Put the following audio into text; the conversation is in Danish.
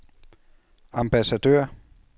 ambassadør